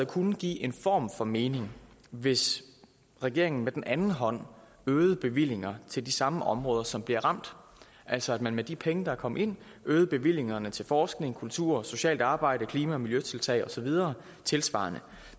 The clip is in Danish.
kunne give en form for mening hvis regeringen med den anden hånd øgede bevillinger til de samme områder som bliver ramt altså at man med de penge der er kommet ind øgede bevillingerne til forskning kultur socialt arbejde klima og miljøtiltag og så videre tilsvarende